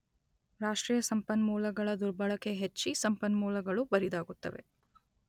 ರಾಷ್ಟ್ರೀಯ ಸಂಪನ್ಮೂಲಗಳ ದುರ್ಬಳಕೆ ಹೆಚ್ಚಿ ಸಂಪನ್ಮೂಲಗಳು ಬರಿದಾಗುತ್ತವೆ.